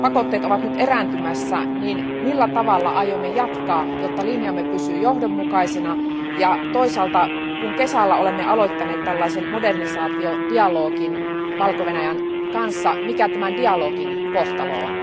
pakotteet ovat erääntymässä, niin millä tavalla aiomme jatkaa, jotta linjamme pysyy johdonmukaisena ja toisaalta, kun kesällä olemme aloittaneet tällaisen modernisaatiodialogin Valko Venäjän kanssa, mikä tämän dialogin kohtalo on?